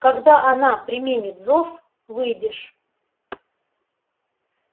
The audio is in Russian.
когда она применит зов выйдешь